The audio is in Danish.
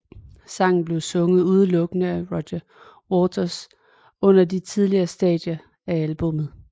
Sangen blev sunget udelukkende af Roger Waters under de tidlige stadier af albummet